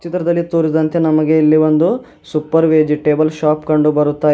ಚಿತ್ರದಲ್ಲಿ ತೋರಿಸಿದಂತೆ ನಮಗೆ ಇಲ್ಲಿ ಒಂದು ಸೂಪರ್ ವೆಜಿಟೇಬಲ್ ಶಾಪ್ ಕಂಡು ಬರುತ್ತಾ ಇದೆ.